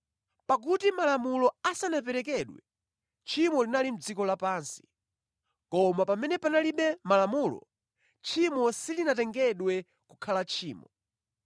Pakuti Malamulo asanaperekedwe, tchimo linali mʼdziko lapansi. Koma pamene palibe Malamulo, tchimo silitengedwa kukhala tchimo.